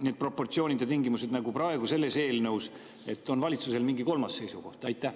need proportsioonid ja tingimused ei pea jääma ka nii, nagu on praegu selles eelnõus, vaid valitsusel on mingi kolmas seisukoht?